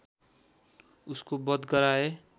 उसको बध गराए